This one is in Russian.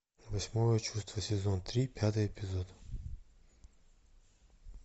восьмое чувство сезон три пятый эпизод